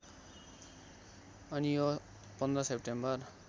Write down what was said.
आनियो १५ September